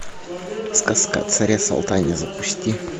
сказка о царе салтане запусти